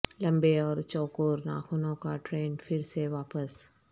لمبے اور چوکور ناخنوں کا ٹرینڈ پھر سے واپس